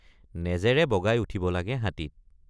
নেজেৰে বগাই উঠিব লাগে হাতীত।